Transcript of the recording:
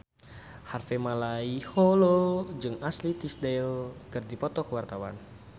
Harvey Malaiholo jeung Ashley Tisdale keur dipoto ku wartawan